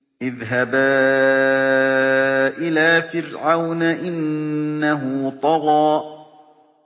اذْهَبَا إِلَىٰ فِرْعَوْنَ إِنَّهُ طَغَىٰ